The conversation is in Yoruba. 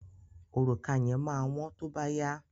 Òrùka yẹn máa wọ́n tó bá yá.